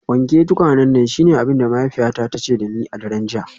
Wanke tukwanen nan shine abin da mahaifiyata ta ce da ni a daren jiya.